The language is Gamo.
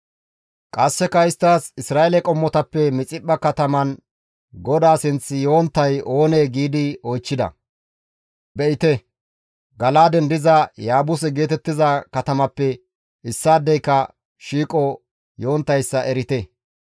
Qasseka isttas, «Isra7eele qommotappe Mixiphpha kataman GODAA sinth yonttay oonee?» giidi oychchida. Be7ite! Gala7aaden diza Yaabuse geetettiza katamappe issaadeyka shiiqo yonttayssa erite.